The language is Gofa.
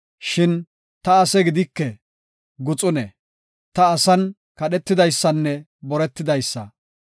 Shin ta ase gidike; guxune; ta asan kadhetidaysanne boretidaysa.